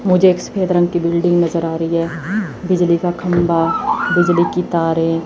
मुझे एक सफेद रंग की बिल्डिंग नजर आ री है बिजली का खंभा बिजली की तारे--